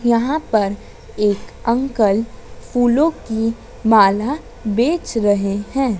यहां पर एक अंकल फूलों की माला बेच रहे हैं।